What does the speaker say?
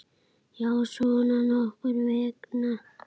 Já, svona nokkurn veginn.